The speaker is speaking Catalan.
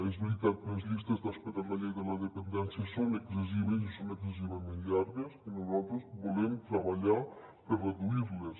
és veritat les llistes d’espera en la llei de la dependència són excessives i són excessivament llargues i nosaltres volem treballar per reduir les